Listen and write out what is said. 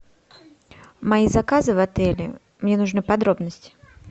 мои заказы в отеле мне нужны подробности